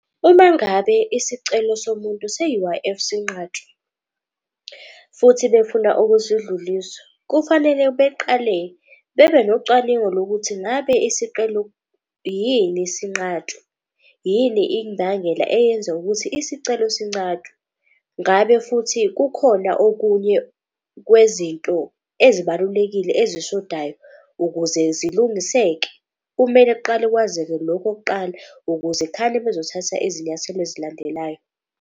Uma ngabe isicelo somuntu se-U_I_F sinqatshwa futhi befuna ukusidlulisa. Kufanele beqale bebe nocwaningo lokuthi ngabe isiqelo yini sinqatshwe. Yini imbangela eyenza ukuthi isicelo sincatshwe. Ngabe futhi kukhona okunye kwezinto ezibalulekile ezishodayo ukuze zilungisekile. Kumele kuqale kwazeke lokho kuqala ukuze khane bezothatha izinyathelo ezilandelayo.